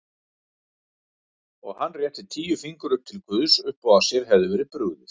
Og hann rétti tíu fingur upp til guðs uppá að sér hefði verið brugðið.